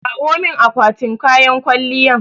Kawo min akwatin kayan kwalliyan